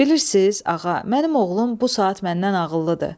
Bilirsiz, ağa, mənim oğlum bu saat məndən ağıllıdır.